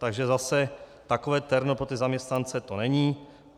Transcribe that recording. Takže zase takové terno pro ty zaměstnance to není.